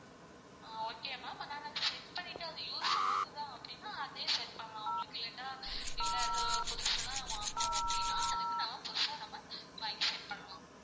ஆஹ் okay ma'am ஆனா வந்து set பண்ணிட்டு அது use ஆகுதா அப்டின்னா அதே set பண்ணலான் உங்களுக்கு இல்லட்டா இல்ல அது புதுசுதான் வாங்கணும் அப்டின்னா அதுக்கு நாம் புதுசா நம்ம வாங்கி set பண்ணலாம்.